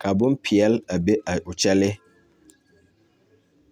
ka bompeɛl a be a o kyɛlii.